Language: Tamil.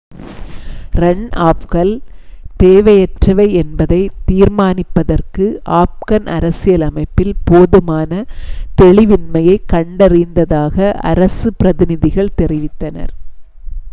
ரன் ஆஃப்கள் தேவையற்றவை என்பதைத் தீர்மானிப்பதற்கு ஆப்கன் அரசியலமைப்பில் போதுமான தெளிவின்மையைக் கண்டறிந்ததாக அரசுப் பிரதிநிதிகள் தெரிவித்தனர்